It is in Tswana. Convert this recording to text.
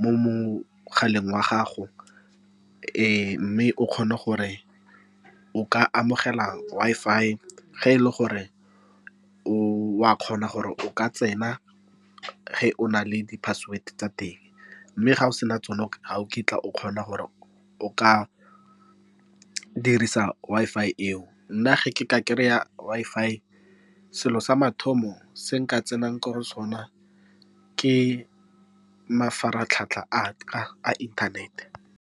mo mogaleng wa gago. Mme o kgona gore o ka amogela Wi-Fi, ge e le gore wa kgona gore o ka tsena, ge o na le di-password tsa teng. Mme ga o sena tsone, ha o kitla o kgona gore o ka dirisa Wi-Fi eo. Nna, ge ke ka kry-a Wi-Fi, selo sa mathomo se nka tsenang ko go sona ke mafaratlhatlha a ka a inthanete.